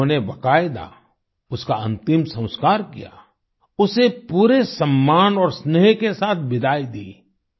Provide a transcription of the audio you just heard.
लोगों ने बाकायदा उसका अंतिम संस्कार किया उसे पूरे सम्मान और स्नेह के साथ विदाई दी